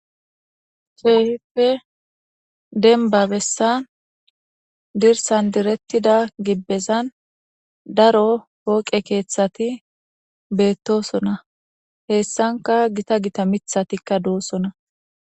Keheeppe denbabessan dirsan direttida gibbezan daro pooqe keeththati beettosona heessanka gita gita mithatikka doossona